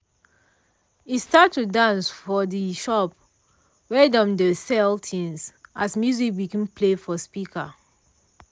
e start to dance for de shop wey dem dey sell things as music begin play for speaker